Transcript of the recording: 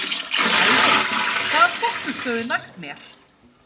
Elvin, hvaða stoppistöð er næst mér?